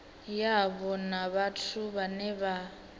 yavho na vhathu vhane vha